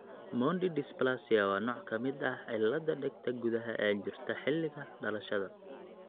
Mondi dysplasia waa nooc ka mid ah cilladda dhegta gudaha ee jirta xilliga dhalashada (dhalasho).